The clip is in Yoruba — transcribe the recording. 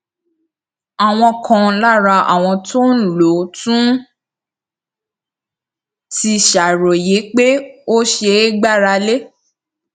àwọn kan lára àwọn tó ń lò ó tún ti ṣàròyé pé ó ṣeé gbára lé